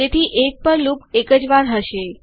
તેથી 1 પર લૂપ એક જ વાર હશે